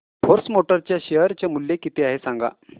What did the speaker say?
force Motors च्या share चे मूल्य किती आहे सांगा